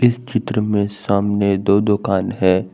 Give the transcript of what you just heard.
इस चित्र में सामने दो दुकान है।